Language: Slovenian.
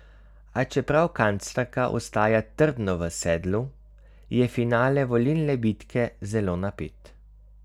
A čeprav kanclerka ostaja trdno v sedlu, je finale volilne bitke zelo napet.